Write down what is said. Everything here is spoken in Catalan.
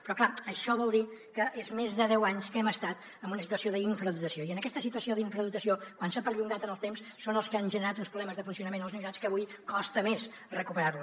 però clar això vol dir que és més de deu anys que hem estat en una situació d’infradotació i aquesta situació d’infradotació quan s’ha perllongat en el temps és el que ha generat uns problemes de funcionament a les universitats que avui costa més recuperar los